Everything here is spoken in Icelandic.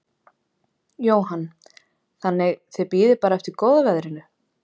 Jóhann: Þannig þið bíðið bara eftir góða veðrinu?